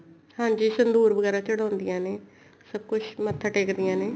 ਹਾਂਜੀ ਸੰਧੂਰ ਵਗੈਰਾ ਚੜਾਉਦੀਆਂ ਨੇ ਸਭ ਕੁੱਛ ਮੱਥਾ ਟੇਕਦੀਆਂ ਨੇ